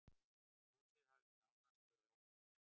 Húsið hafi nánast verið ónýtt.